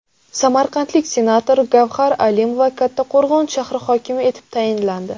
Samarqandlik senator Gavhar Alimova Kattaqo‘rg‘on shahri hokimi etib tayinlandi.